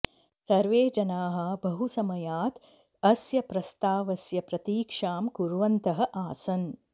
सर्वे जनाः बहुसमयात् अस्य प्रस्तावस्य प्रतीक्षां कुर्वन्तः आसन्